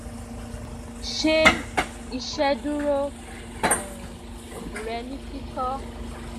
ṣe iṣeduro um rẹ ni kikọ